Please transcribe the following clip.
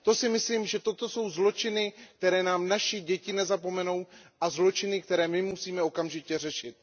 Myslím si, že toto jsou zločiny, které nám naše děti nezapomenou, a zločiny, které my musíme okamžitě řešit.